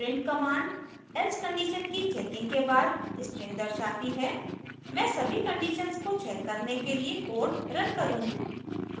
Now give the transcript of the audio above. print command else condition की checking के बाद string दर्शाती है मैं सभी conditions को check करने के लिए code रन करूँगी